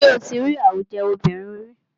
Ṣé o tí rí àwùjọ obìnrin ríi?